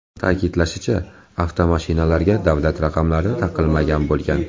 Ta’kidlanishicha, avtomashinalarga davlat raqamlari taqilmagan bo‘lgan.